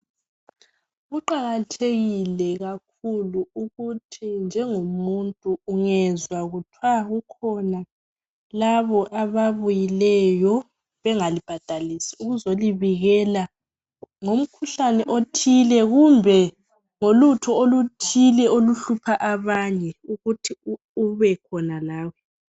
Kuqakathekile kakhulu ukuthi njengomuntu ungezwa kuthiwa kukhona labo ababuyileyo bengalibhadalisi ukuzolibikela ngomkhuhlane othile kumbe ngolutho oluthile oluhlupha abanye ukuthi ube khona lawe.